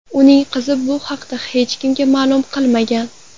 Uning qizi bu haqda hech kimga ma’lum qilmagan.